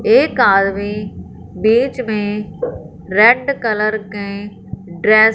एक आदमी बीच में रेड कलर के ड्रेस --